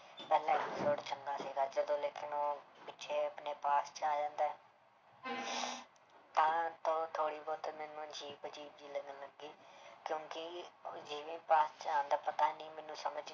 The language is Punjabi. ਪਹਿਲੇ episode 'ਚ ਚੰਗਾ ਸੀਗਾ ਜਦੋਂ ਲੇਕਿੰਨ ਉਹ ਪਿੱਛੇ ਆਪਣੇ past 'ਚ ਆ ਜਾਂਦਾ ਹੈ ਥੋੜ੍ਹੀ ਬਹੁਤ ਮੈਨੂੰ ਅਜ਼ੀਬ ਅਜ਼ੀਬ ਜਿਹੀ ਲੱਗੀ ਕਿਉਂਕਿ past 'ਚ ਆਉਂਦਾ ਪਤਾ ਨੀ ਮੈਨੂੰ ਸਮਝ